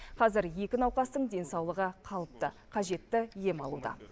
қазір екі науқастың денсаулығы қалыпты қажетті ем алуда